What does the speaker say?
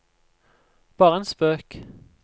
bare en spøk